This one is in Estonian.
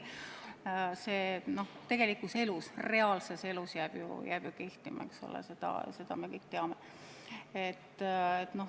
See tegelikus elus, reaalses elus jääb kehtima, eks ole, ja seda me kõik teame.